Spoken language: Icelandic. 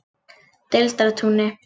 Deildartúni